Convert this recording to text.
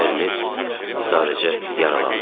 Əriniz sadəcə yaralanıb.